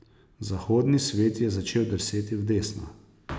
Zahodni svet je začel drseti v desno.